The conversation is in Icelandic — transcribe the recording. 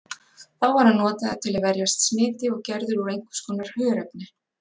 Þá var hann notaður til að verjast smiti og gerður úr einhvers konar hörefni.